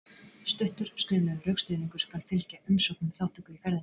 Stuttur skriflegur rökstuðningur skal fylgja umsókn um þátttöku í ferðinni.